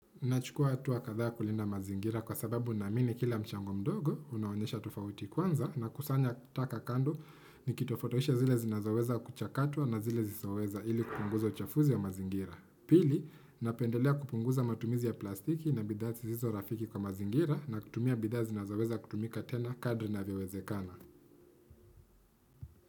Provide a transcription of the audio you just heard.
Nachukua hatua kadhaa kulinda mazingira kwa sababu naamini kila mchango mdogo, unaonyesha tofauti. Kwanza nakusanya taka kando nikitofautisha zile zinazoweza kuchakatwa na zile zisizoweza ili kupunguza uchafuzi wa mazingira. Pili, napendelea kupunguza matumizi ya plastiki na bidaa zisizo rafiki kwa mazingira na kutumia bidaa zinazoweza kutumika tena kadri inavyowezekana.